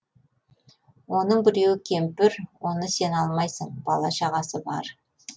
оның біреуі кемпір оны сен алмайсың бала шағасы бар